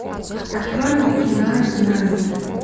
открой мне кино изгнание